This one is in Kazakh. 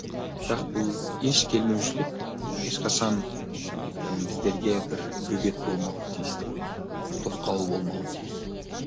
бірақ бұл еш келмеушілік ешқашан і біздерге бір бөгет болмауы тиіс деп ойлаймын тосқауыл болмауы тиіс